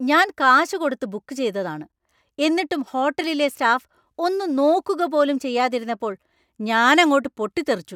ഞാൻ കാശ് കൊടുത്ത് ബുക്ക് ചെയ്തതാണ്; എന്നിട്ടും ഹോട്ടലിലെ സ്റ്റാഫ് ഒന്ന് നോക്കുക പോലും ചെയ്യാതിരുന്നപ്പോൾ ഞാൻ അങ്ങോട്ട് പൊട്ടിത്തെറിച്ചു.